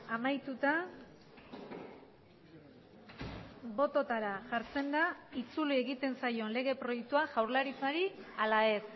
amaituta bototara jartzen da itzuli egiten zaion lege proiektua jaurlaritzari ala ez